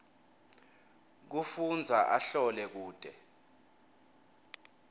kufundza ahlole kute